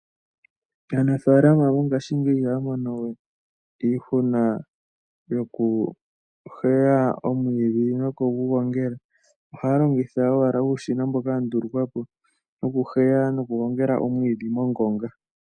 Aanafaalama mongashingeyi ihaya mono we iihuna yokuheya omwiidhi nokugongela, ohaya longitha owala uushina mboka wandulukwa po wokuheya nokugongela omwiidhi mongonga.